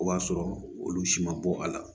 O b'a sɔrɔ olu si ma bɔ a la